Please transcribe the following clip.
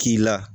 K'i la